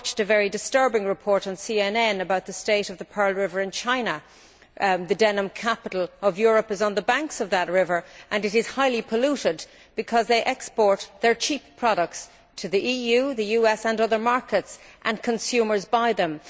I watched a very disturbing report on CNN about the state of the Pearl River in China. The denim capital of Europe is on the banks of that river, which is highly polluted because they export their cheap products to the EU, the US and other markets and consumers buy them.